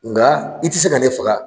Nga i ti se ka ne faga